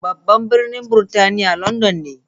Babban birnin Burtaniya London ne.